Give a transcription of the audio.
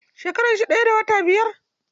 Shekaran shi daya da wata biyar.